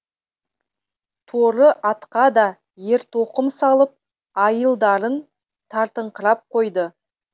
торы атқа да ертоқым салып айылдарын тартыңқырап қойды